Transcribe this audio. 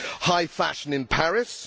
high fashion in Paris